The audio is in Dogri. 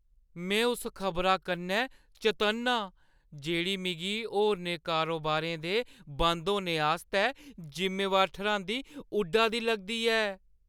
में उस खबरा कन्नै चतन्न आं जेह्ड़ी मिगी होरनें कारोबारें दे बंद होने आस्तै जिम्मेवार ठर्‌हांदी उड्डा दी लगदी ऐ।